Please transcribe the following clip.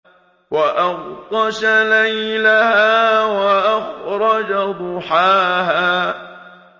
وَأَغْطَشَ لَيْلَهَا وَأَخْرَجَ ضُحَاهَا